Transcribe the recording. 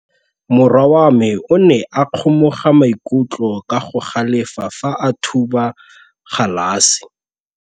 Morwa wa me o ne a kgomoga maikutlo ka go galefa fa a thuba galase.